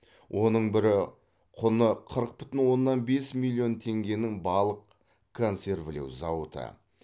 оның бірі құны қырық бүтін оннан бес миллион теңгенің балық консервілеу зауыты